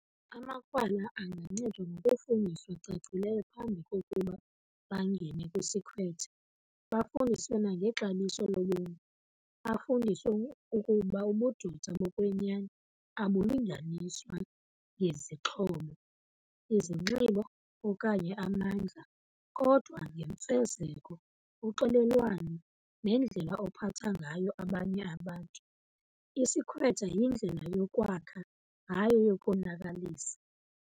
Amakrwala angancedwa ngokufundiswa cacileyo phambi kokuba bangene kwisikhwetha, bafundiswe nangexabiso lobomi. Bafundiswe ukuba ubudoda bokwenyani abulinganiswa ngezixhobo, izinxibo okanye amandla kodwa ngemfezeko, uxolelwano nendlela ophatha ngayo abanye abantu. Isikhwetha yindlela yokwakha, hayi eyokonakalisa.